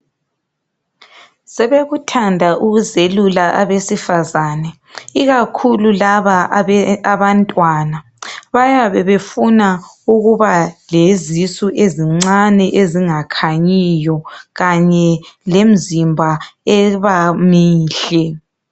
Sebekuthanda ukuzelula abesifazane ikakhulu laba abantwana. Bayabe befuna ukuba lezisu ezincane ezingakhanyiyo kanye lemizimba eba muhle.